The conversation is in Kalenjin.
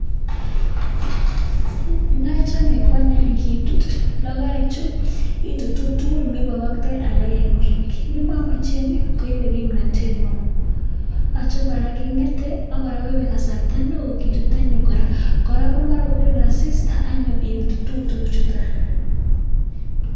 Neachame kwanyun kitut logoek Che itutu tugul mebakaktai alak en ngweny memamachen komache kimnatet neon yache koraa kongeten akoraa koibe kasarta neon kitut anyun koraa koraa komara kobir asista anyun itutu tuguk chuton